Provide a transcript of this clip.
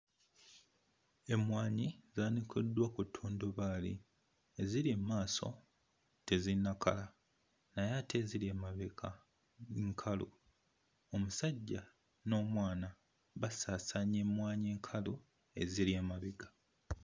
Emmwanyi zaanikiddwa ku ttundubaali, eziri mmaaso tezinnakala, naye ate eziri emabega nkalu. Omusajja n'omwana basaasaanya emmwanyi enkalu eziri emabega.